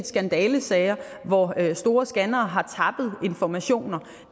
skandalesager hvor store scannere har tappet informationer